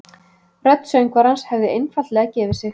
Rödd söngvarans hefði einfaldlega gefið sig